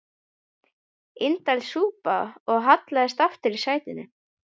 Indælis súpa og hallaðist aftur í sætinu.